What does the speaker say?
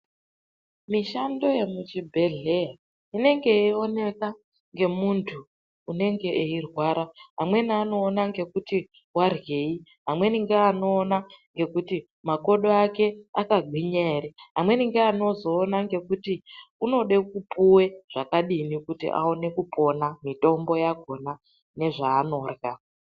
Mishando yekuchibhedhleya inenge yeioneka ngemuntu unenge eirwara. Amweni anoona ngekuti waryei, amweni ngeanoona ngekuti makodo ake akagwinya ere. Amweni ngeanozoona ngekuti unode kupuwe zvakadini kuti aone kupona, mitombo yakhona, nezvaanorya.